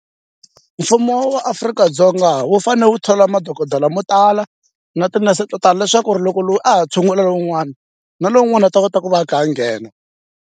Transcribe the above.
Mfumo wa Afrika-Dzonga wu fanele wu thola madokodela mo tala na tinese to tala leswaku ri loko loyi a ha tshungula lowun'wana na lowun'wana u ta kota ku va a kha a nghena.